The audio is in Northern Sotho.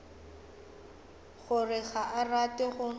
gore ga a rate go